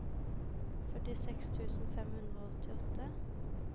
førtiseks tusen fem hundre og åttiåtte